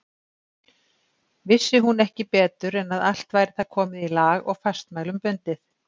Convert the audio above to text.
Vissi hún ekki betur en að allt væri það komið í lag og fastmælum bundið.